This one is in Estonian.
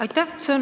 Aitäh!